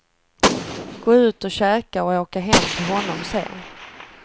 Gå ut och käka och åka hem till honom sen.